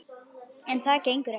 En það gengur ekki.